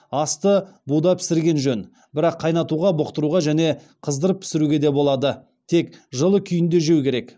асты буда пісірген жөн бірақ қайнатуға бұқтыруға және қыздырып пісіруге де болады тек жылы күйінде жеу керек